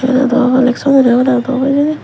obodey i hudu obow hijeni.